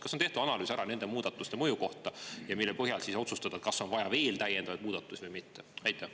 Kas on tehtud analüüs nende muudatuste mõju kohta ja mille põhjal siis otsustada, kas on veel vaja täiendavaid muudatusi või mitte?